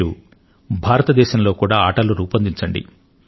మీరు భారతదేశంలో కూడా ఆటలు రూపొందించండి